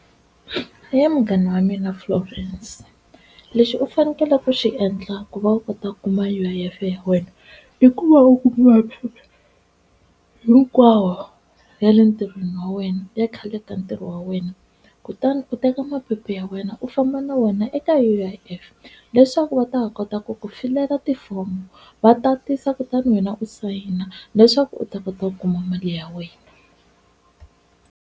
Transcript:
He munghana wa mina Florence lexi u fanekele ku xi endla ku va u kota ku kuma U_I_F ya wena i ku va u kuma phepha hinkwawo ya le ntirhweni wa wena ya khale ka ntirho wa wena, kutani u teka maphepha ya wena u famba na wona eka U_I_F leswaku va ta va kota ku ku filela tifomo va tatisa kutani wena u sayina leswaku u ta kota ku kuma mali ya wena.